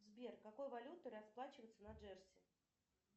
сбер какой валютой расплачиваются на джерси